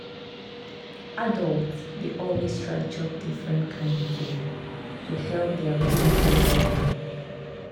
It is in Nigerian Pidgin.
adults dey always try chop different kain food to help their body dey well.